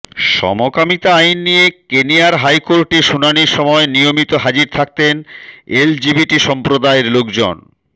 সমকামিতা আইন নিয়ে কেনিয়ার হাইকোর্টে শুনানির সময় নিয়মিত হাজির থাকতেন এলজিবিটি সম্প্রদায়ের লোকজন